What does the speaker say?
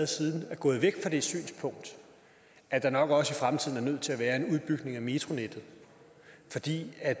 siden er gået væk fra det synspunkt at der nok også i fremtiden er nødt til at være en udbygning af metronettet fordi det er